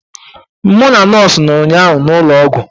Mụ na nọọsụ nọ ụnyaahụ n'ụlọ ọgwụ.